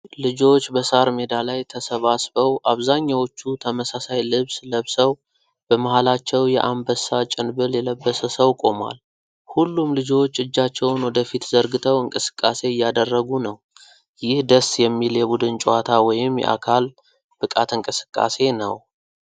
ልጆች በሣር ሜዳ ላይ ተሰባስበው፣ አብዛኛዎቹ ተመሳሳይ ልብስ ለብሰው፣ በመሃላቸው የዐንበሳ ጭንብል የለበሰ ሰው ቆሟል። ሁሉም ልጆች እጃቸውን ወደፊት ዘርግተው እንቅስቃሴ እያደረጉ ነው። ይህ ደስ የሚል የቡድን ጨዋታ ወይም የአካል ብቃት እንቅስቃሴ ነው።